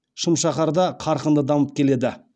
шымшаһарда қарқынды дамып келеді